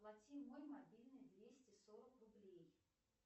оплати мой мобильный двести сорок рублей